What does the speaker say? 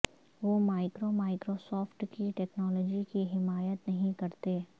وہ micro Microsoft کی technology کی حمایت نہیں کرتے